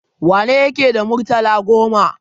Wane yake da murtala goma?